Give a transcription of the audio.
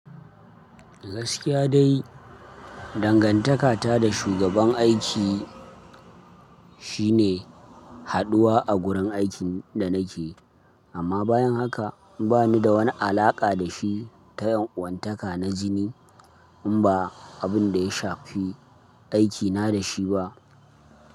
Gaskiya dai, dangantakata da shugaban aiki shine haduwa a gurin aikin da nake, amma bayan haka bani da wani alaƙa da shi ta yanwuntaka na jini in ba abin da ya shafi aikina da shi ba.